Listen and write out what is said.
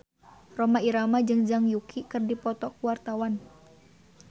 Rhoma Irama jeung Zhang Yuqi keur dipoto ku wartawan